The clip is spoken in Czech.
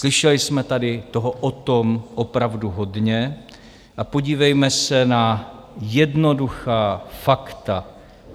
Slyšeli jsme tady toho o tom opravdu hodně a podívejme se na jednoduchá fakta.